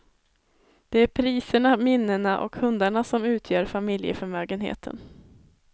Det är priserna, minnena och hundarna som utgör familjeförmögenheten.